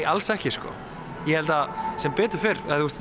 alls ekki sko ég held að sem betur fer